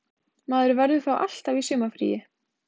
Maður verður þá alltaf í sumarfríi